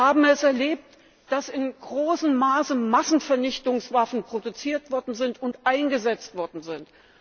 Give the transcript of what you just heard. Wir haben es erlebt, dass in großem Maße Massenvernichtungswaffen produziert und eingesetzt worden sind.